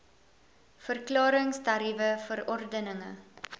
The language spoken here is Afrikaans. verklarings tariewe verordeninge